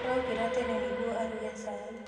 Arokĩra tene nĩguo aruge cai.